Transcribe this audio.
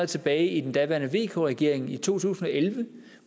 tilbage i den daværende vk regering i to tusind og elleve